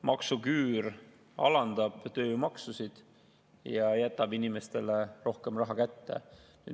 Maksuküüru alandab tööjõumaksusid ja jätab inimestele rohkem raha kätte.